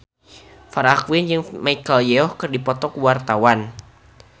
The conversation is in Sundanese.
Farah Quinn jeung Michelle Yeoh keur dipoto ku wartawan